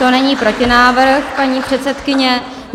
To není protinávrh, paní předsedkyně.